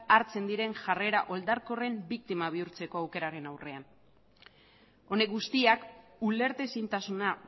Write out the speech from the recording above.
hartzen diren jarrera oldarkorren biktima bihurtzeko aukeraren aurrean honek guztiak ulertezintasuna